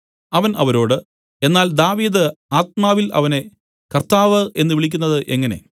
അവൻ അവരോട് എന്നാൽ ദാവീദ് ആത്മാവിൽ അവനെ കർത്താവ് എന്നു വിളിക്കുന്നത് എങ്ങനെ